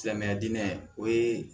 Silamɛya dinɛ o ye